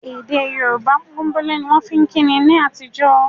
Èdè Yorùbá pọ́nbélé ni wọ́n fi ń kíni ní àtijọ́